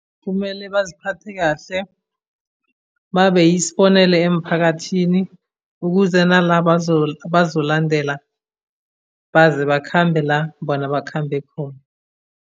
Kumele baziphathe kahle, babe yisibonelo emphakathini, ukuze nalaba abazolandela baze bakhambe la bona bakhambe khona.